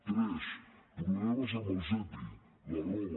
tres problemes amb els epi la roba